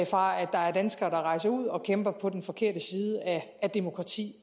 fra at der er danskere der rejser ud og kæmper på den forkerte side af demokrati